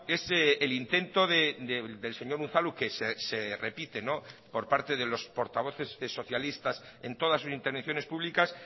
es el intento del señor unzalu que se repite por parte de los portavoces socialistas en todas sus intervenciones públicas